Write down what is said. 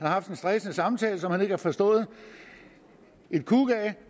har haft en stressende samtale som han ikke har forstået et kuk af